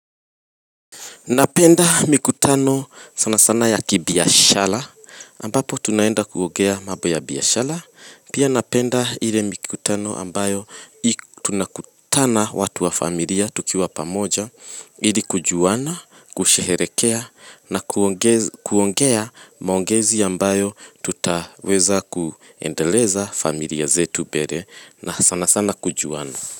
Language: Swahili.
Napenda mikutano sana sana ya kibiashara, ambapo tunaenda kuongea mambo ya biashara, pia napenda ile mikutano ambayo tunakutana watu wa familia tukiwa pamoja, ili kujuana, kusheherekea, na kuongeza kuongea maongezi ambayo tutaweza kuendeleza familia zetu mbele, na sana sana kujuana.